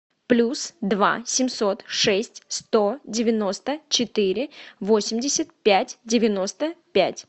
плюс два семьсот шесть сто девяносто четыре восемьдесят пять девяносто пять